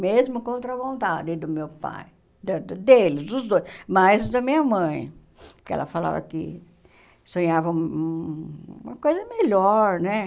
Mesmo contra a vontade do meu pai, da do dele, dos dois, mas da minha mãe, que ela falava que sonhava uma coisa melhor, né?